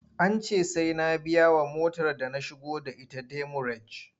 An ce sai na biyawa motar da na shigo da ita demurej.